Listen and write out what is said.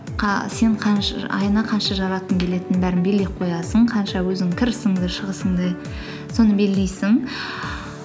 сен айына қанша жаратқың келетінін белгілеп қоясың қанша өзінің кірісіңді шығысыңды соны белгілейсің